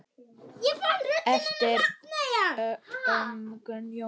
eftir Ögmund Jónsson